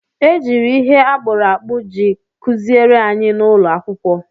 E jiri ihe akpụrụ akpụ ji kụziere anyị n'ụlọ akwụkwọ.